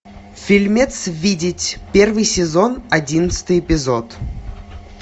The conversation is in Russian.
фильмец видеть первый сезон одиннадцатый эпизод